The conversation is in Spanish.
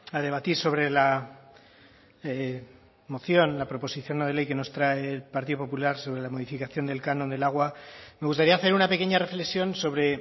a debatir sobre la moción la proposición no de ley que nos trae el partido popular sobre la modificación del canon del agua me gustaría hacer una pequeña reflexión sobre